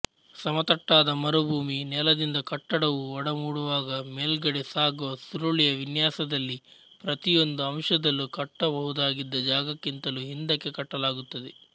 ಸಮತಟ್ಟಾದ ಮರುಭೂಮಿ ನೆಲದಿಂದ ಕಟ್ಟಡವು ಒಡಮೂಡುವಾಗ ಮೇಲ್ಗಡೆ ಸಾಗುವ ಸುರುಳಿಯ ವಿನ್ಯಾಸದಲ್ಲಿ ಪ್ರತಿಯೊಂದು ಅಂಶದಲ್ಲೂ ಕಟ್ಟಬಹುದಾಗಿದ್ದ ಜಾಗಕ್ಕಿಂತಲೂ ಹಿಂದಕ್ಕೆ ಕಟ್ಟಲಾಗುತ್ತದೆ